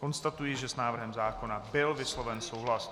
Konstatuji, že s návrhem zákona byl vysloven souhlas.